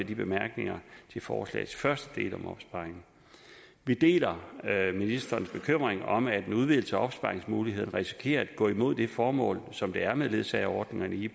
bemærkninger til forslagets første del om opsparing vi deler ministerens bekymring om at en udvidelse af opsparingsmuligheden risikerer at gå imod det formål som der er med ledsageordningerne i